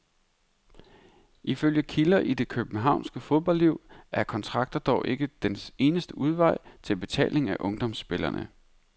Ifølge kilder i det københavnske fodboldliv er kontrakter dog ikke den eneste vej til betaling af ungdomsspillere.